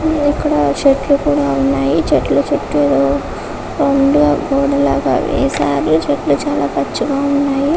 ఇక్కడ చెట్లు ఉన్నాయి చెట్ల చుట్టూ కొండలు కోణాలు వణ్ణయి--